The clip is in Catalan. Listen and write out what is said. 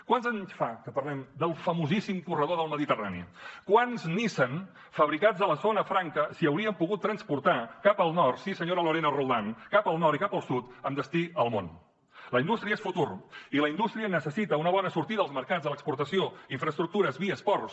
quants anys fa que parlem del famosíssim corredor mediterrani quants nissan fabricats a la zona franca s’haurien pogut transportar cap al nord sí senyora lorena roldán i cap al sud amb destí al món la indústria és futur i la indústria necessita una bona sortida als mercats a l’exportació infraestructures vies ports